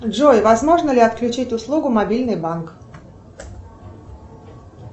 джой возможно ли отключить услугу мобильный банк